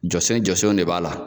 Jɔsen jɔsenw de b'a la.